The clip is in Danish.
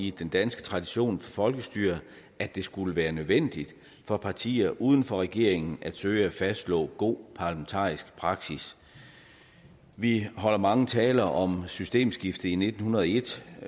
i den danske tradition for folkestyre at det skulle være nødvendigt for partier uden for regeringen at søge at fastslå god parlamentarisk praksis vi holder mange taler om systemskiftet i nitten hundrede og en